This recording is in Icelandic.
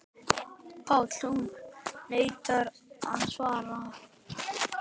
PÁLL: Hún neitar að svara.